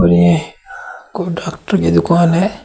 यह कोई डॉक्टर की दुकान है।